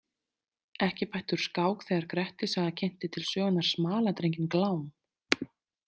Ekki bætti úr skák þegar Grettissaga kynnti til sögunnar smaladrenginn Glám.